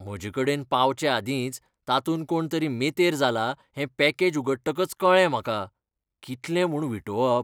म्हजेकडेन पावचेआदींच तातूंत कोणतरी मेतेर जाला हें पॅकेज उगडटकच कळ्ळें म्हाका. कितलें म्हूण विटोवप!